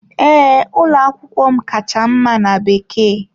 Ee, ụlọ akwụkwọ m kacha mma na Bekee.